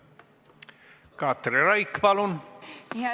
Katri Raik, palun!